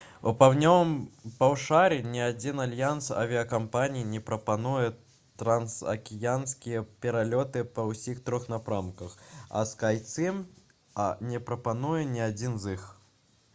у паўднёвым паўшар'і ні адзін альянс авіякампаній не прапануе трансакіянскія пералёты па ўсіх трох напрамках а «скайцім» не прапануе ні адзін з іх